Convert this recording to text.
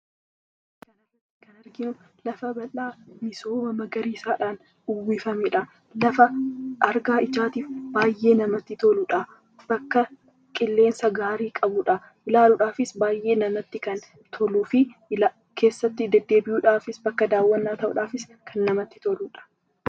Kan arginu, lafa bal'aa misooma magariisaan uwwifamedha. Lafa argaa ijaatiif baayyee namatti toludha. Bakka qilleensa gaarii qabudha, ilaaluudhaafis baayyee kan namatti toluu fi keessatti deddeebi'uudhaafi bakka daawwannaa ta'uudhaafis kan namatti toludha.